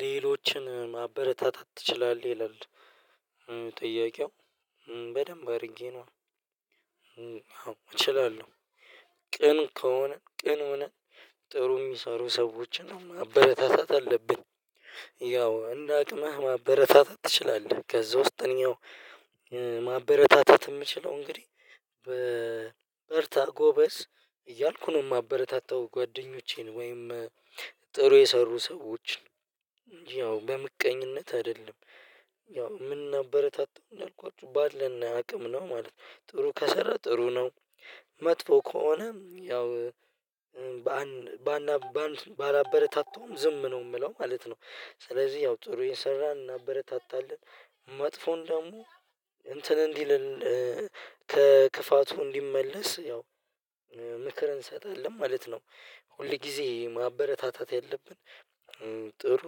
ሌሎችን ማበረታታት ትችላለህ ይላል? ጥያቄው በደንብ አድርጌ ነው። አዎ እችላለሁ። ቅን ከሆነ ቅን ሆነ ጥሩ የሚሰሩ ሰዎችን ማበረታታት አለብን። ያው እንደ አቅምህ ማበረታታት ትችላለህ ከዛ ውስጠኛው። ማበረታታት የምችለው እንግዲህ በ በርታ ጎበዝ እያልኩ ነው የማበረታታው ጓደኞቼን። ወይም ጥሩ የሰሩ ሰዎችን። ያው በምቀኝነት አይደለም። ያው ምናበረታታው እንዳልኳችሁ ባለን አቅም ነው ማለት ነው ጥሩ ከሰራ ጥሩ ነው። መጥፎ ከሆነም ያው። ባና ባላበረታታውም ዝም ነው የምለው ማለት ነው። ስለዚህ ያው ጥሩ የሰራን እናበረታታለን። መጥፎን ደግሞ እንትን እንዲል። ከክፋቱ እንዲመለስ ያው ምክር እንሰጣለን ማለት ነው። ሁል ጊዜ ማበረታታት ያለብን ጥሩ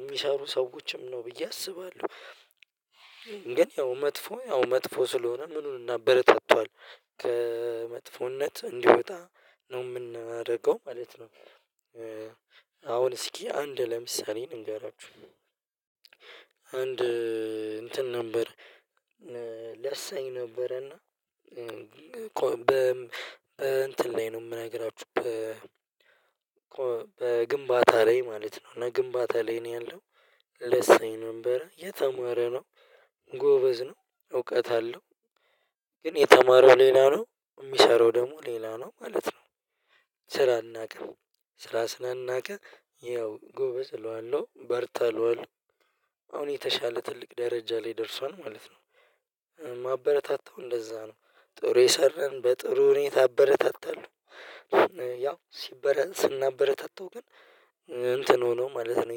የሚሰሩ ሰዎችም ነው ብዬ አስባለሁ። ግን ያው መጥፎ ያው መጥፎ ስለሆነ ምኑን እናበረታታዋለን? ከመጥፎነት እንዲወጣ ነው የምናደርገው ማለት ነው። አሁን እስኪ አንድ ለምሳሌ ልንገራችሁ። አንድ እንትን ነበር። ለሳኝ ነበረና በእንትን ላይ ነው የምነግራችሁ በ በግንባታ ላይ ማለት ነው እና ግንባታ ላይ ነው ያለው። ለሳኝ ነበር የተማረ ነው። ጎበዝ ነው እውቀት አለው። ግን የተማረው ሌላ ነው የሚሰራው ደግሞ ሌላ ነው ማለት ነው። ስራ አልናቀም ስራ ስላልናቀ ይኸው ጎበዝ እለዋለሁ በርታ እለዋለሁ። አሁን የተሻለ ትልቅ ደረጃ ላይ ደርሷል ማለት ነው። ማበረታታው እንደዛ ነው ጥሩ የሰራን በጥሩ ሁኔታ አበረታታለሁ። ያው ሲበረ ስናበረታታው ግን እንትን ሆኖ ማለት ነው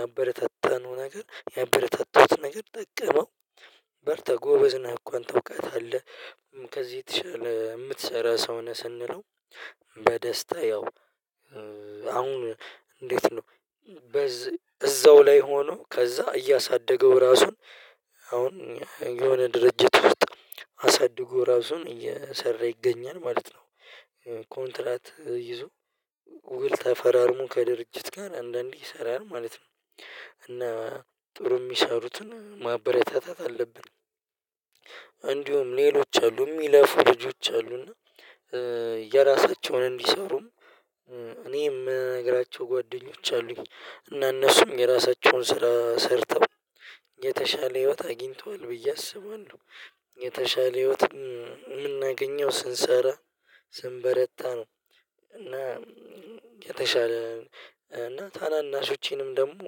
ያበረታታነው ነገር ያበረታተውት ነገር ጠቀመው። በርታ ጎበዝ ነህ እኮ አንተ እውቀት አለህ አለ። ከዚህ የተሻለ የምትሰራ ሰው ነህ ስንለው። በደስታ ያው አሁን እንዴት ነው? እዛው ላይ ሆኖ ከዛ እያሳደገው ራሱን። አሁን የሆነ ድርጅት ውስጥ አሳድጎ ራሱን እየሰራ ይገኛል ማለት ነው። ኮንትራት ይዞ ውል ተፈራርሞ ከድርጅት ጋር አንዳንዴ ይሰራል ማለት ነው። እና ጥሩ የሚሰሩትን ማበረታታት አለብን። እንዲሁም ሌሎች አሉ የሚለፉ ልጆች አሉና። የራሳቸውን እንዲሰሩም እኔ የምነግራቸው ጓደኞች አሉኝ እና እነሱም የራሳቸውን ስራ ሰርተው የተሻለ ህይወት አግኝተዋል ብዬ አስባለሁ። የተሻለ ህይወት የምናገኘው ስንሰራ ስንበረታ ነው። እና የተሻለ እና ታናናሾቼንም ደግሞ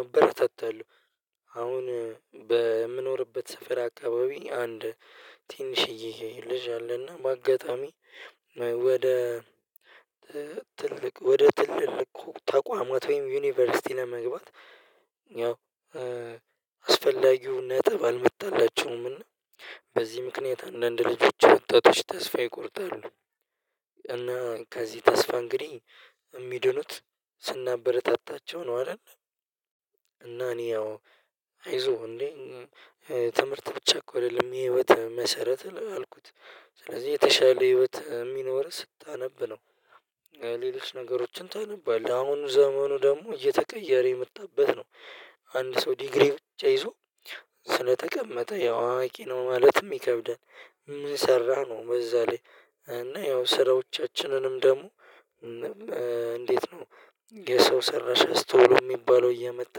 አበረታታለሁ። አሁን በምኖርበት ስፍራ አካባቢ አንድ ትንሽዬ ልጅ አለና በአጋጣሚ ወደ ትልቅ ወደ ትልልቅ ተቋማት ወይም ዩኒቨርሲቲ ለመግባት ያው አስፈላጊው ነጥብ አልመጣላቸውምና በዚህ ምክንያት አንዳንድ ልጆች ወጣቶች ተስፋ ይቆርጣሉ። እና ከዚህ ተስፋ እንግዲህ የሚድኑት ስናበረታታቸው ነው አይደል? እና እኔ ያው አይዞህ እንዴ ትምህርት ብቻ እኮ አይደለም የህይወት መሰረት አልኩት። ስለዚህ የተሻለ ህይወት የሚኖርህ ስታነብ ነው። ሌሎች ነገሮችን ታነባለህ አሁን ዘመኑ ደግሞ እየተቀየረ የመጣበት ነው። አንድ ሰው ዲግሪ ብቻ ይዞ ስለተቀመጠ ያው አዋቂ ነው ማለትም ይከብዳል። ምን ሰራህ ነው በዛ ላይ? እና ያው ስራዎቻችንንም ደግሞ እንዴት ነው? የሰው ሰራሽ አስቶሎ የሚባለው እየመጣ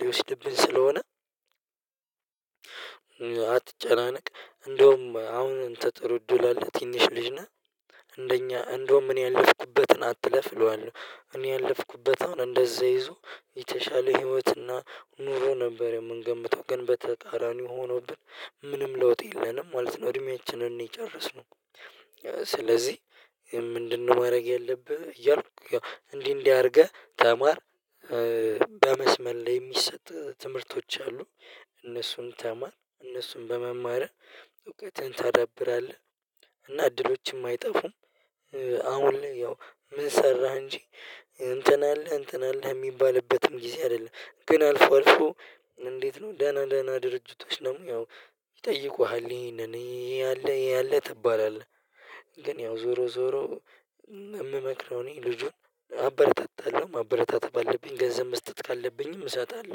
ሊወስድብን ስለሆነ። አትጨናነቅ እንደውም አሁን አንተ ጥሩ እድል አለህ ትንሽ ልጅ ነህ እንደኛ እንደውም እኔ ያለፍኩበትን አትለፍ እለዋለሁ እኔ ያለፍኩበት አሁን እንደዛ ይዞ። የተሻለ ህይወትና ኑሮ ነበር የምንገምተው ግን በተጣራኒው ሆኖብን። ምንም ለውጥ የለንም ማለት ነው እድሜያችንን ነው የጨረስነው። ስለዚህ ምንድነው ማድረግ ያለብህ እያልኩ እንዲህ እንዲህ አድርገህ ተማር። በመስመል ላይ የሚሰጥ ትምህርቶች አሉ። እነሱን ተማር እነሱን በመማርህ እውቀትህን ታዳብራለህ እና እድሎችም አይጠፉም። አሁን ላይ ያው ምን ሰራህ እንጂ እንትን አለህ እንትን አለህ የሚባልበትም ጊዜ አይደለም። ግን አልፎ አልፎ። እንዴት ነው ደህና ደህና ድርጅቶች ደግሞ ያው ይጠይቁሃል ይሄንን ይሄ ይሄ አለህ ይሄ አለህ ትባላለህ። ግን ያው ዞሮ ዞሮ የምመክረው እኔ ልጁን አበረታታለሁ ማበረታታት ባለብኝ ገንዘብ መስጠት ካለብኝም እሰጣለሁ